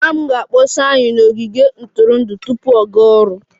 Mama m ga-akpọsi anyị n'ogige ntụrụndụ tupu ọ gaa ọrụ